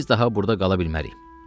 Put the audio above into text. Biz daha burda qala bilmərik.